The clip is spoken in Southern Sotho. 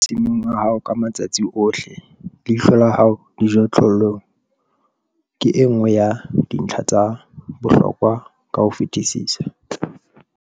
Eba masimong a hao ka matsatsi ohle - leihlo la hao dijothollong ke e nngwe ya dintlha tsa bohlokwa ka ho fetisisa.